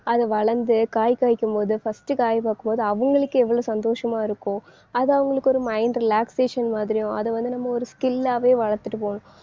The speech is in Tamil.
அது வளர்ந்து, காய் காய்க்கும் போது first காய் பார்க்கும் போது அவங்களுக்கு எவ்வளவு சந்தோஷமா இருக்கும் அது அவங்களுக்கு ஒரு mind relaxation மாதிரியும் அதை வந்து நம்ம ஒரு skill ஆவே வளர்த்துட்டு போகணும்.